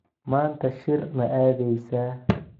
Maanta shir ma aadeysaa?